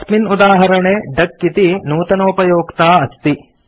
अस्मिन् उदाहरणे डक इति नूतनोपयोक्ता अस्ति